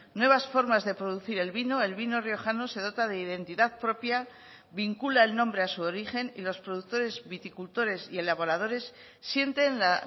nuevas formas de producir el vino el vino riojano se dota de identidad propia vincula el nombre a su origen y los productores viticultores y elaboradores sienten la